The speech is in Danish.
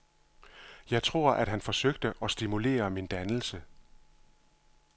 Jeg tror, at han forsøgte at stimulere min dannelse.